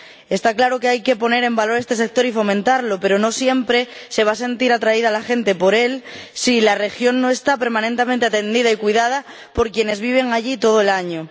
Está claro que hay que poner en valor este sector y fomentarlo, pero no siempre se va a sentir atraída la gente por él si la región no está permanentemente atendida y cuidada por quienes viven allí todo el año.